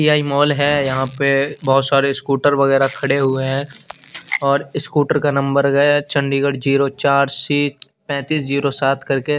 ए आई माल है यहा पे बहोत सारे स्कूटर वगेरा खडे हुए है और स्कूटर का नंबर है चण्डीघड जीरो चार सिट पेतिस जीरो सात करके--